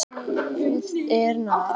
Guð er nær.